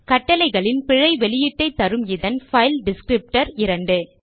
கட்டளைகளின் பிழை வெளியீட்டை தருமிதன் பைல் டிஸ்க்ரிப்டர் 2